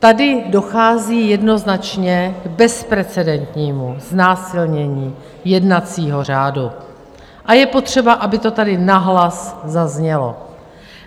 Tady dochází jednoznačně k bezprecedentnímu znásilnění jednacího řádu a je potřeba, aby to tady nahlas zaznělo.